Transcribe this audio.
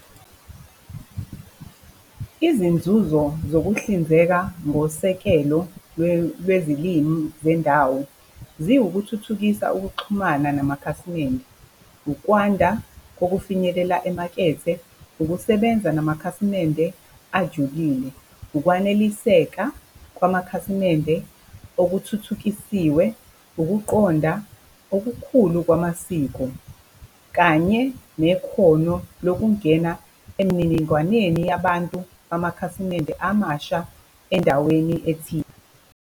Izinzuzo zokuhlinzeka ngosekelo lwezilimi zendawo, ziwukuthuthukisa ukuxhumana namakhasimende. Ukwanda kokufinyelela emakethe. Ukusebenza namakhasimende ajulile. Ukwaneliseka kwamakhasimende okuthuthukisiwe. Ukuqonda okukhulu kwamasiko kanye nekhono lokungena emininingwaneni yabantu amakhasimende amasha endaweni ethile.